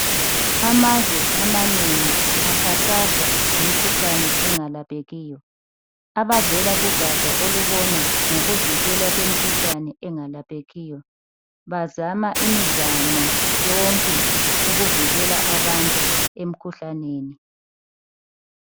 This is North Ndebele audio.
Amazwe amanengi akhathazwa yimikhuhlane engalaphekiyo abavela kugatsha olubona ngokuvikelwa kwemikhuhlane engalaphekiyo bazama imizamo yonke ukuvikela abantu emkhuhlaneni